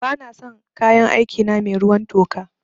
Ba na son kayan aiki na mai ruwan toka